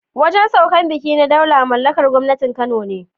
Wajen saukar baƙi na Daula mallakar gwangwanin Kano ne.